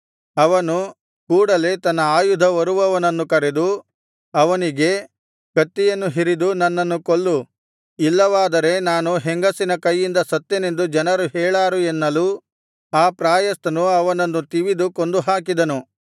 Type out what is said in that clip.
ಅವನು ಕೂಡಲೆ ತನ್ನ ಆಯುಧ ಹೊರುವವನನ್ನು ಕರೆದು ಅವನಿಗೆ ಕತ್ತಿಯನ್ನು ಹಿರಿದು ನನ್ನನ್ನು ಕೊಲ್ಲು ಇಲ್ಲವಾದರೆ ನಾನು ಹೆಂಗಸಿನ ಕೈಯಿಂದ ಸತ್ತನೆಂದು ಜನರು ಹೇಳಾರು ಎನ್ನಲು ಆ ಪ್ರಾಯಸ್ಥನು ಅವನನ್ನು ತಿವಿದು ಕೊಂದುಹಾಕಿದನು